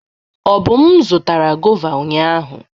Obum zụtara gọva ụnyahụ.